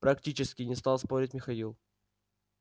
практически не стал спорить михаил